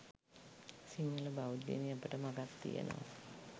සිංහල බෞද්ධයෙනි අපට මගක් තියෙනවා